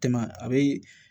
Tɛmɛ a bɛ